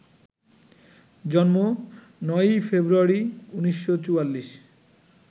জন্ম: ৯ই ফেব্রুয়ারি, ১৯৪৪